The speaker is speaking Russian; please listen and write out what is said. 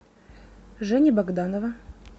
жени богданова